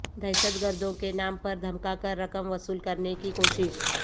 دہشت گردوں کے نام پر دھمکاکر رقم وصول کرنے کی کوشش